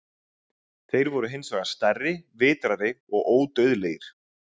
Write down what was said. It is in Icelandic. Þeir voru hins vegar stærri, vitrari og ódauðlegir.